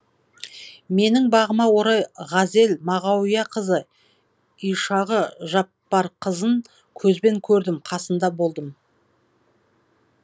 менің бағыма орай ғазел мағауияқызы ишағы жақпарқызын көзбен көрдім қасында болдым